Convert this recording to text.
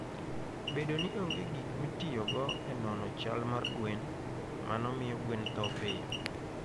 Bedo ni onge gik mitiyogo e nono chal mar gwen, mano miyo gweno tho piyo.